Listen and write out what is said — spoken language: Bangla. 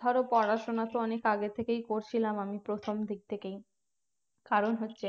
ধরো পড়াশোনা তো অনেক আগে থেকেই করছিলাম আমি প্রথম দিক থেকেই কারণ হচ্ছে